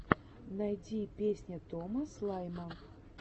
найди песня тома слайма